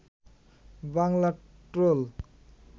Bangla troll